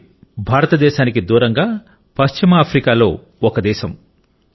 మాలి భారతదేశానికి దూరంగా పశ్చిమ ఆఫ్రికాలో ఒక దేశం